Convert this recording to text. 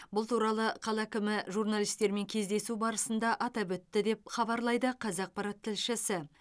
бұл туралы қала әкімі журналистермен кездесу баысында атап өтті деп хабарлайды қазақпарат тілшісі